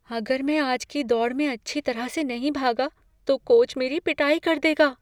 अगर मैं आज की दौड़ में अच्छी तरह से नहीं भागा तो कोच मेरी पिटाई कर देगा।